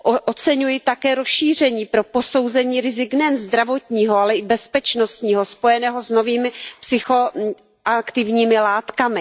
Oceňuji také rozšíření pro posouzení rizika nejen zdravotního, ale také bezpečnostního spojeného s novými psychoaktivními látkami.